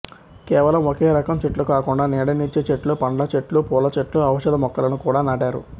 కేవలం ఒకే రకం చెట్లు కాకుండా నీడనిచ్చే చెట్లు పండ్ల చెట్లు పూల చెట్లు ఔషధ మొక్కలను కూడా నాటారు